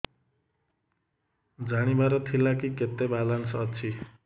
ଜାଣିବାର ଥିଲା କି କେତେ ବାଲାନ୍ସ ଅଛି